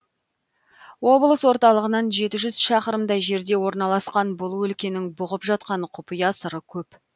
облыс орталығынан жеті жүз шақырымдай жерде орналасқан бұл өлкенің бұғып жатқан құпия сыры көп